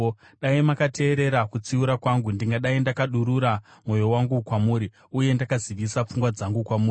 Dai makateerera kutsiura kwangu, ndingadai ndakadurura mwoyo wangu kwamuri uye ndakazivisa pfungwa dzangu kwamuri.